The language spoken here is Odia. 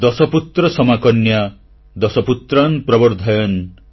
ଦଶପୁତ୍ର ସମାକନ୍ୟା ଦଶ ପୁତ୍ରାନ୍ ପ୍ରବର୍ଦ୍ଧୟନ୍